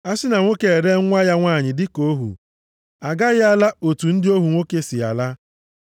“A sị na nwoke eree nwa ya nwanyị dịka ohu, agaghị ala otu ndị ohu nwoke si ala.